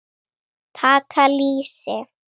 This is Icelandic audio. Taka lýsi!